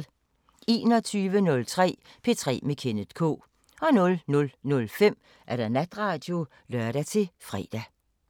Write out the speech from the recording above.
21:03: P3 med Kenneth K 00:05: Natradio (lør-fre)